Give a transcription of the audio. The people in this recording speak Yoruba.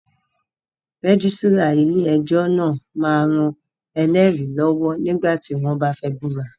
Rẹ́gísírà ilé ẹjọ́ náà máa ń ran ẹlẹ́rìí lọ́wọ́ nígbà tí wọ́n bá fẹ́ búra